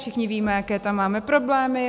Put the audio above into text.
Všichni víme, jaké tam máme problémy.